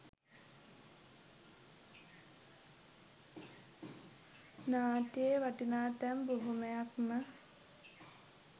නාට්‍යයේ වටිනා තැන් බොහොමයක් ම.